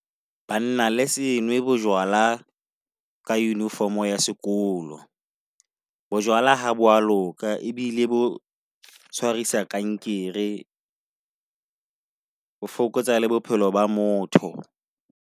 Banna le senwe bo jwala ka uniform ya sekolo. Bo jwala ha bo a loka ebile bo tshwarisa kankere ho fokotsa la bophelo ba motho.